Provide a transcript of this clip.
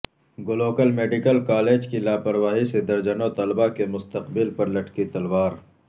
گلوکل medical college کی لاپرواہی سے درجنوں طلبہ کے مستقبل پر لٹکی تلوار